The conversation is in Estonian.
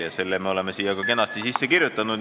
Ja selle me oleme siia ka kenasti sisse kirjutanud.